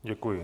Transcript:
Děkuji.